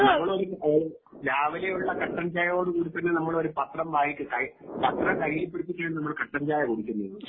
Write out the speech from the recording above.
നമ്മൾ ഒരു രാവിലെയുള്ള കട്ടൻ ചായയോട് കൂടി തന്നെ നമ്മൾ ഒരു പാത്രം വായിച്ച് കഴിയും പത്രം കയ്യിൽ പിടിച്ചിട്ട് ആണ് നമ്മൾ കട്ടൻ ചായ കുടിക്കുന്നത്.